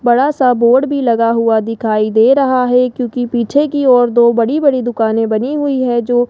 बड़ा सा बोर्ड भी लगा हुआ दिखाई दे रहा है क्यूंकि पीछे की ओर दो बड़ी बड़ी दुकानें बनी हुई है जो --